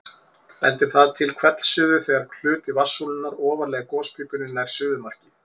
Bendir það til hvellsuðu þegar hluti vatnssúlunnar ofarlega í gospípunni nær suðumarki.